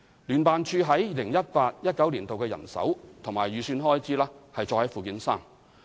聯辦處於 2018-2019 年度的人手及預算開支載於附件三。